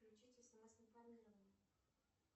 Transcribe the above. включить смс информирование